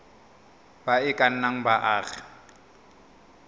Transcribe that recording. ba e ka nnang baagi